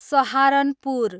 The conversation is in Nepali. सहारनपुर